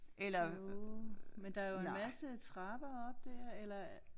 Jo men der jo en masse trapper op dér eller